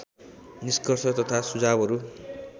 निष्कर्ष तथा सुझावहरू